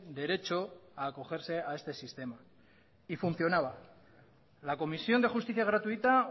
derecho a acogerse a este sistema y funcionaba la comisión de justicia gratuita